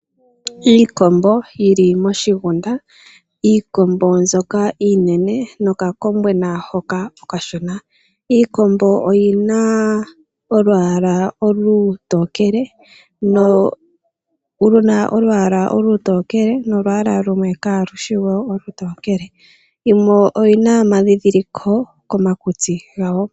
Iikombo yili moshigunda, iikombo mbyoka iinene nokakombwena hoka okashona, iikombo oyina olwaala olutokele nolwaala lumwe ka lushi olutokele yimwe oyina omadhidhiliko komakutsi gawo.